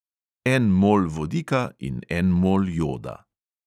En mol vodika in en mol joda.